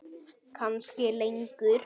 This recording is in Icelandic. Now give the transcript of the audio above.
Kannski lengur.